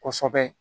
Kɔsɛbɛ